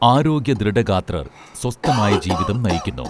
ആരോഗ്യദൃഢഗാത്രർ സ്വസ്ഥം ആയി ജീവിതം നയിക്കുന്നു